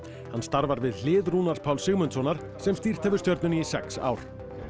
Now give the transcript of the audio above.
hann starfar við hlið Rúnars Páls Sigmundssonar sem stýrt hefur stjörnunni í sex ár